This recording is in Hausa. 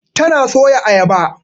Tana soya Ayaba.